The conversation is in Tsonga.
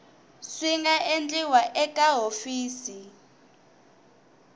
swi nga endliwa eka hofisi